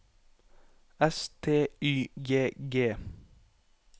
S T Y G G